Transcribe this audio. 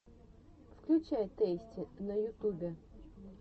включай тэйсти на ютубе